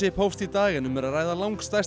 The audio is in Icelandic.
hófst í dag en um er að ræða lang stærsta